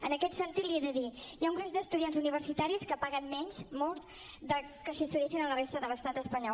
en aquest sentit li he de dir hi ha un gruix d’estudiants universitaris que pa·guen menys molts que si estudiessin a la resta de l’estat espanyol